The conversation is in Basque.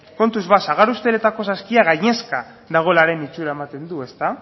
kontuz ba sagar usteletako saskia gainezka dagoelaren itxura ematen du